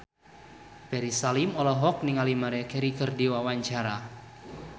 Ferry Salim olohok ningali Maria Carey keur diwawancara